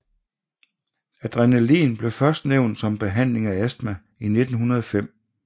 Adrenalin blev først nævnt som behandling af astma i 1905